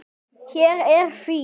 Hér er því.